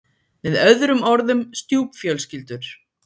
Með öðrum orðum stjúpfjölskyldur.